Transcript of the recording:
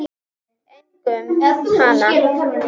Einkum hana.